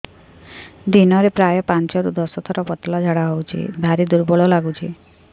ଦିନରେ ପ୍ରାୟ ପାଞ୍ଚରୁ ଦଶ ଥର ପତଳା ଝାଡା ହଉଚି ଭାରି ଦୁର୍ବଳ ଲାଗୁଚି